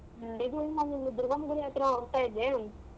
ಹ್ಮ್ ಇದು ನಾನ್ ಇಲ್ಲಿ ದುರ್ಗಮ್ಮನ್ ಗುಡಿ ಹತ್ರ ಹೋಗ್ತಾ ಇದ್ದೇ.